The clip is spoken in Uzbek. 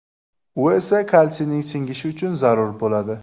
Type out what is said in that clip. U esa kalsiyning singishi uchun zarur bo‘ladi.